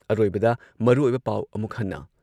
ꯑꯔꯣꯏꯕꯗ ꯃꯔꯨꯑꯣꯏꯕ ꯄꯥꯎ ꯑꯃꯨꯛ ꯍꯟꯅ